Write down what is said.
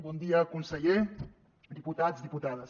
bon dia conseller diputats diputades